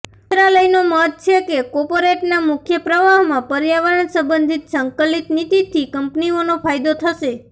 મંત્રાલયનો મત છે કે કોર્પોરેટના મુખ્ય પ્રવાહમાં પર્યાવરણ સંબંધિત સંકલિત નીતિથી કંપનીઓને ફાયદો થશે